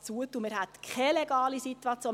Man hätte keine legale Situation.